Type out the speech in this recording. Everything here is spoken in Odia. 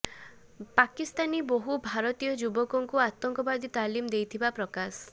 ବାକିସ୍ତାନୀ ବହୁ ଭାରତୀୟ ଯୁବକଙ୍କୁ ଆତଙ୍କବାଦୀ ତାଲିମ ଦେଇଥିବା ପ୍ରକାଶ